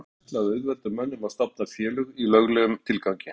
Þessu ákvæði er ætlað að auðvelda mönnum að stofna félög í löglegum tilgangi.